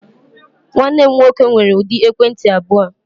Nwanne m nwoke nwere ụdị ekwentị abụọ.